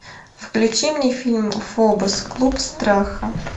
включи мне фильм фобос клуб страха